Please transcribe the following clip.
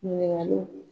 Ɲininkali